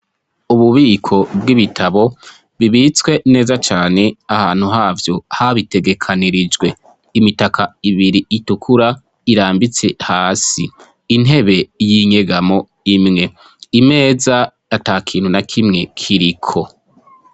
Ububiko bw'ibitabo bibitswe neza cane, ahantu yavyo habitegekanirijwe. Imitaka ibiri itukura irambitse hasi, intebe y'inyegamo imwe, imeza atakintu nakimwe kiriko.